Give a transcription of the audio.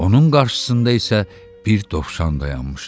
Onun qarşısında isə bir dovşan dayanmışdı.